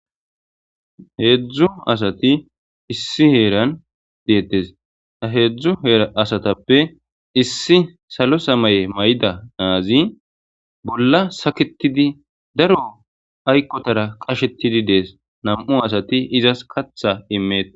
heedzdzu asati issi heeran deettes ha heedzdzu heera asatappe issi salo samaye may7ida aazi bolla saketidi daro aykkotara qashetidi dees nam7u asati izas katha imeet